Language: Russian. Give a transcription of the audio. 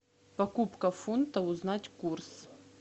покупка фунта узнать курс